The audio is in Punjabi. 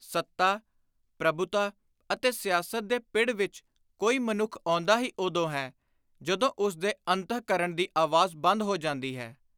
ਸੱਤਾ, ਪ੍ਰਭੁਤਾ ਅਤੇ ਸਿਆਸਤ ਦੇ ਪਿੜ ਵਿਚ ਕੋਈ ਮਨੁੱਖ ਆਉਂਦਾ ਹੀ ਉਦੋਂ ਹੈ, ਜਦੋਂ ਉਸ ਦੇ ਅੰਤਹਕਰਣ ਦੀ ਆਵਾਜ਼ ਬੰਦ ਹੋ ਜਾਂਦੀ ਹੈ।